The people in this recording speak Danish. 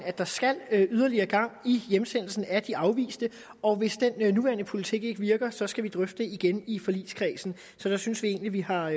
at der skal yderligere gang i hjemsendelsen af de afviste og hvis den nuværende politik ikke virker så skal vi drøfte det igen i forligskredsen så der synes vi egentlig vi har